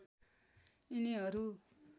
यिनीहरू